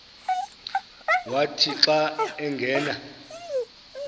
wathi xa angena